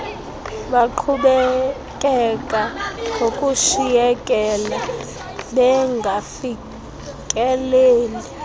baqhubekeka ngokushiyekela bengafikeleli